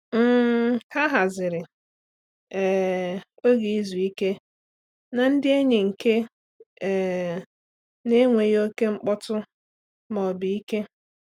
um Ha haziri um oge izu ike na ndị enyi nke um na-enweghị oke mkpọtụ ma ọ bụ ike.